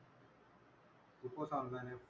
खूपच online आहेत.